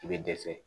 I bɛ dɛsɛ